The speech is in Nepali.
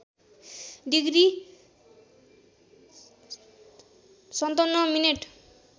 degree ५७ minute